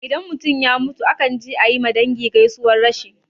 Idan mutum ya mutu akan je ayi ma dangi gaisuwan rashi